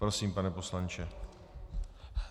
Prosím, pane poslanče.